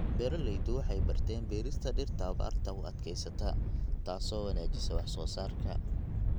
Beeraleydu waxay barteen beerista dhirta abaarta u adkeysata, taasoo wanaajisa wax soo saarka.